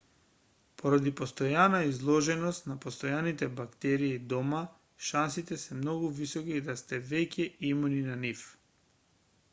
поради постојана изложеност на постојните бактерии дома шансите се многу високи да сте веќе имуни на нив